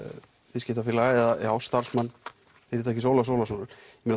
viðskiptafélaga eða starfsmann fyrirtækis Ólafs Ólafssonar